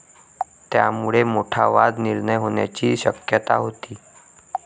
त्यामुळे मोठा वाद निर्माण होण्याची शक्यता होती.